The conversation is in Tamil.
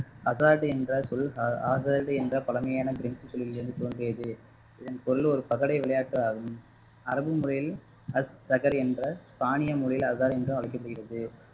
அடாது என்ற சொல் ஆ~ ஆகாது என்ற பழமையான பிரென்ச் மொழியில் இருந்து தோன்றியது இதன் பொருள் ஒரு பகடை விளையாட்டு ஆகும் அரபு முறையில் அச் சகர் என்ற பாணிய முறையில் அகார் என்று அழைக்கப்படுகிறது